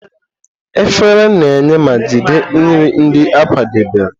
Efere na-enye ma jide nri ndị a kwadebere.